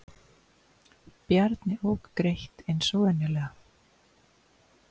Bjarni ók greitt eins og venjulega.